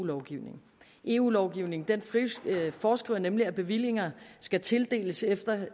lovgivningen eu lovgivningen foreskriver nemlig at bevillinger skal tildeles efter